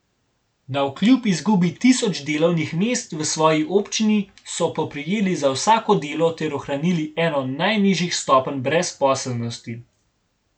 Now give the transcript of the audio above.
Navkljub izgubi tisoč delovnih mest v svoji občini so poprijeli za vsako delo ter ohranili eno najnižjih stopenj brezposelnosti.